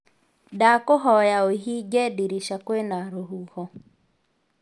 Ndakũhoya uhinge ndirĩca kwĩ na rũhuho